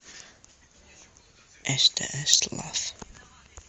стс лав